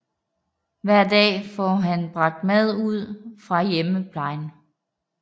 Hver dag får han bragt mad ud fra hjemmeplejen